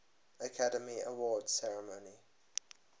academy awards ceremony